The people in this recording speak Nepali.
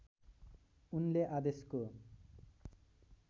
उनले आदेशको